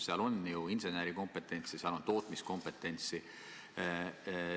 Seal on ju insenerikompetentsi, seal on tootmiskompetentsi.